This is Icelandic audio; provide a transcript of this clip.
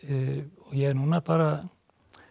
ég er núna bara